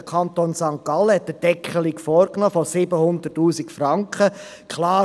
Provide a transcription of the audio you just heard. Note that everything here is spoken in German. Der Kanton St. Gallen hat eine Deckelung bei 700 000 Franken vorgenommen.